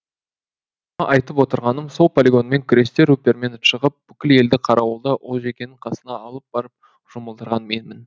мұны айтып отырғаным сол полигонмен күресте рупермен шығып бүкіл елді қарауылда олжекеңнің қасына алып барып жұмылдырған менмін